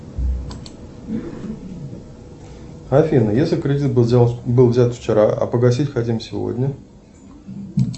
афина если кредит был взят вчера а погасить хотим сегодня